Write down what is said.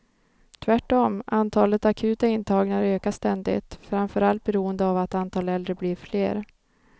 Tvärtom, antalet akuta intagningar ökar ständigt, framförallt beroende av att antalet äldre blir fler.